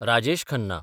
Rajesh Khanna